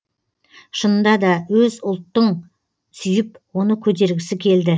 шынында да өз ұлттың сүйіп оны көтергісі келді